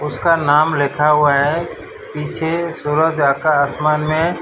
इसका नाम लिखा हुआ है पीछे सूरज आता आसमान में --